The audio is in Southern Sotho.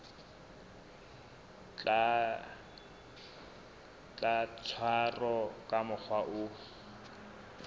tla tshwarwa ka mokgwa o